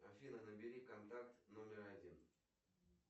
афина набери контакт номер один